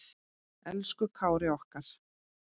Elsku Kári okkar.